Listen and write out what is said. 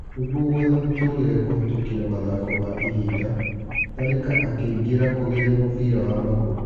Nĩ guo gũetha mũtũrĩ re kũhĩ tũkĩ ra mathako ma ihinda, Tharĩ ka akĩ ingĩ ra kũgeria mũbira wa magũrũ.